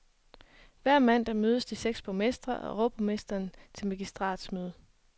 Hver mandag mødes de seks borgmestre og overborgmesteren til magistratsmøde.